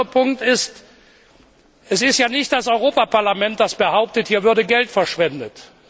Der andere Punkt ist Es ist ja nicht das Europäische Parlament, das behauptet, hier würde Geld verschwendet.